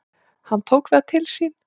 Hann tók það til sín: